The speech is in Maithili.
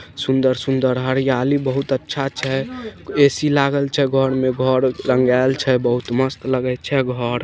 सुंदर-सुंदर हरियाली बहुत अच्छा छे। ऐ.सी. लागल छे घर में घर रंगाएल छे बहुत मस्त लगै छे घर।